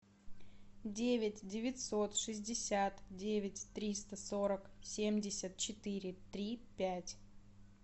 девять девятьсот шестьдесят девять триста сорок семьдесят четыре три пять